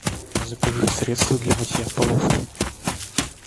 закажи средство для мытья полов